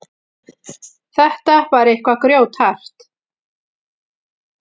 Þetta var eitthvað grjóthart.